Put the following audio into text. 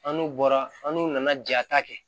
An n'u bɔra an n'u nana jata kɛ